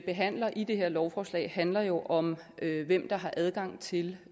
behandler i det her lovforslag handler jo om hvem der har adgang til